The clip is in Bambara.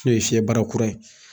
N'o ye fiyɛ bara kura ye